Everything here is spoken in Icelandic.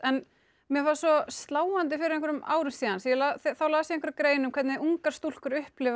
mér fannst svo sláandi fyrir einhverjum árum síðan þá las ég grein um hvernig ungar stúlkur upplifa